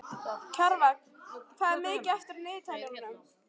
Kjarval, hvað er mikið eftir af niðurteljaranum?